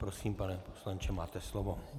Prosím, pane poslanče, máte slovo.